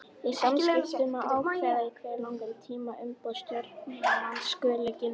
Í samþykktum má ákveða í hve langan tíma umboð stjórnarmanns skuli gilda.